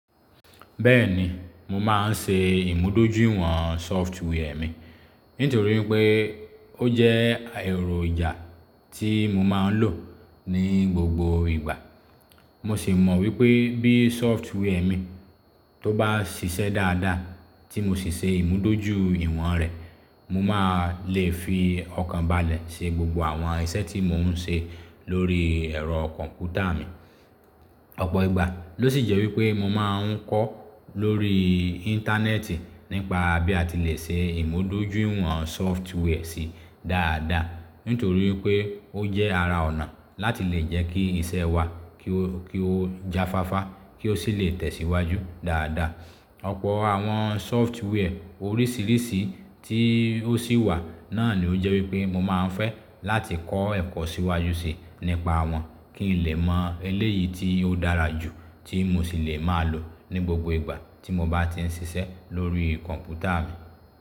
Bẹ́ẹ̀ni, mo máa ń ṣe ìmúdójúìwọ̀n software mi. Nítorí pé ó jẹ́ ẹ̀rọ ìjà tí mo máa ń lò ní gbogbo ìgbà. Mo sì mọ̀ wípé bí software mi tó bá ṣiṣẹ́ dáadáa tí mo sì ṣe ìmúdójúìwọ̀n rẹ̀, mo máa lè fi ọkàn balẹ̀ ṣe gbogbo àwọn iṣẹ́ tí mò ń ṣe lórí ẹ̀rọ kọ̀m̀pútà mi. Ọ̀pọ̀ ìgbà ló sì jẹ́ wípé mo máa ń kọ́ lórí Íńtánẹ́ẹ̀tì nípa bí a ti lè ṣe ìmúdójúìwọ̀n software sí dáadáa. Nítorí pé ó jẹ́ ara ònà láti lè jẹ́ kí iṣẹ́ wa kí ó, kí ó jafáfá kí ó sì lè tẹ̀síwájú dáadáa. Ọ̀pọ̀ àwọn software oríṣiríṣi tí ó sì wà náà ló jẹ́ wípé mo máa ń fẹ́ láti kọ́ ẹ̀kọ́ síwájú síi nípa wọn. Kí n lè mọ eléyìí tí ó dára jù tí mo sì lè máa lò ní gbogbo ìgbà tí mo bá ti ń ṣiṣẹ́ lórí kọ̀m̀pútà mi.